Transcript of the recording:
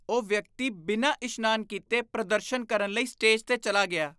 ਉਹ ਵਿਅਕਤੀ ਬਿਨਾਂ ਇਸ਼ਨਾਨ ਕੀਤੇ ਪ੍ਰਦਰਸ਼ਨ ਕਰਨ ਲਈ ਸਟੇਜ 'ਤੇ ਚਲਾ ਗਿਆ।